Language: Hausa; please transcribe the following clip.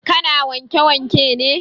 Ka na wanke wanke ne?